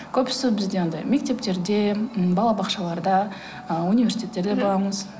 көбісі бізде анадай мектептерде ммм балабақшаларда ы университеттерге барамыз